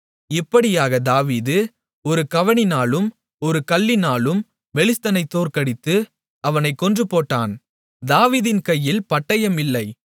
இப்படியாகத் தாவீது ஒரு கவணினாலும் ஒரு கல்லினாலும் பெலிஸ்தனைத் தோற்கடித்து அவனைக் கொன்றுபோட்டான் தாவீதின் கையில் பட்டயம் இல்லை